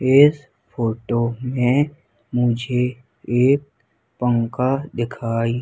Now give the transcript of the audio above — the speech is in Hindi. इस फोटो में मुझे एक पंखा दिखाई--